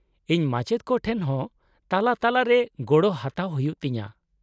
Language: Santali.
-ᱤᱧ ᱢᱟᱪᱮᱫ ᱠᱚ ᱴᱷᱮᱱ ᱦᱚᱸ ᱛᱟᱞᱟᱼᱛᱟᱞᱟᱨᱮ ᱜᱚᱲᱚ ᱦᱟᱛᱟᱣ ᱦᱩᱭᱩᱜ ᱛᱤᱧᱟᱹ ᱾